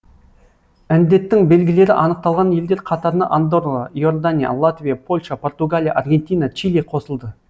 індеттің белгілері анықталған елдер қатарына андорра иордания латвия польша португалия аргентина чили қосылды